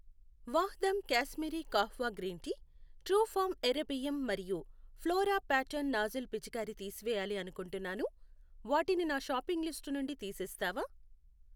Vahdam Kashmiri kahwa green tea, Truefarm ఎర్ర బియ్యం మరియు ఫ్లోరా ప్యాటర్న్ నాజిల్ పిచికారి తీసివేయాలి అనుకుంటున్నాను, వాటిని నా షాపింగ్ లిస్ట్ నుండి తీసేస్తావా?